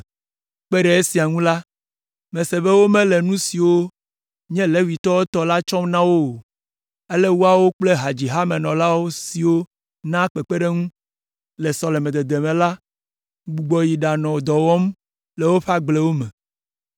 Kpe ɖe esia ŋu la, mese be womele nu siwo nye Levitɔwo tɔ la tsɔm na wo o, ale woawo kple hadzihamenɔla siwo naa kpekpeɖeŋu le sɔlemedede me la gbugbɔ yi ɖanɔ dɔ wɔm le woƒe agblewo me.